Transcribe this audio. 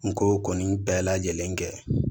N ko kɔni bɛɛ lajɛlen kɛ